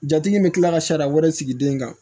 Jatigi in bɛ kila ka sariya wɛrɛ sigi den kan